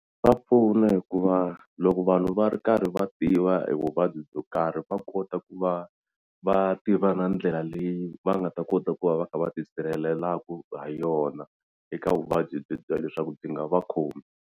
Swa pfuna hikuva loko vanhu va ri karhi va tiva hi vuvabyi byo karhi va kota ku va va tiva na ndlela leyi va nga ta kota ku va va kha va ti sirhelelaku ha yona eka vuvabyi byi bya leswaku byi nga va khomi.